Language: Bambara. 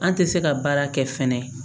An tɛ se ka baara kɛ fɛnɛ